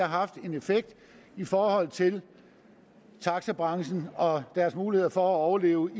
har haft en effekt i forhold til taxabranchen og deres muligheder for at overleve